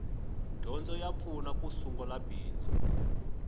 dyondzo ya pfuna ku sungula bindzu